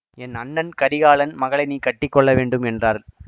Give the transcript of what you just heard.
என் அண்ணன் கரிகாலன் மகளை நீ கட்டிக்கொள்ளவேண்டும் என்றாள்